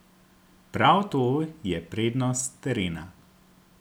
Prav to je prednost terena.